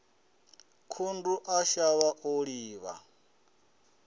khundu a shavha o livha